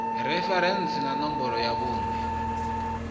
referentsi na ṋomboro ya vhuṋe